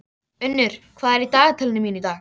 Nei, nei, að minnsta kosti ekki svo heitið gæti.